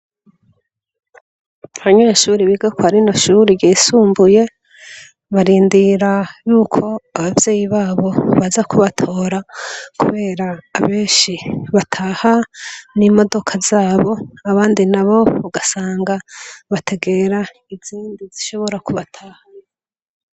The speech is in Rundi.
Abanyeshure biga kwa rino shure ryisumbuye, barindira yuko abavyeyi babo baza kubatora, kubera benshi bataha n'imodoka zabo, abandi nabo ugasanga bategera izindi zishobora kubatahana.